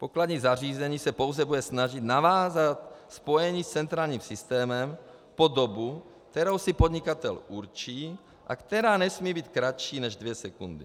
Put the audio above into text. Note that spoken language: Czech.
Pokladní zařízení se pouze bude snažit navázat spojení s centrálním systémem po dobu, kterou si podnikatel určí a která nesmí být kratší než dvě sekundy.